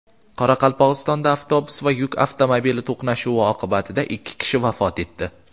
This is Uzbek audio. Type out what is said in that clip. Qoraqalpog‘istonda avtobus va yuk avtomobili to‘qnashuvi oqibatida ikki kishi vafot etdi.